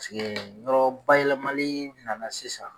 Paseke yɔrɔ bayɛlɛmali nana sisan